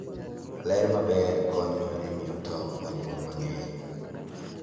Ler maber konyo e miyo tong' onyuol mang'eny.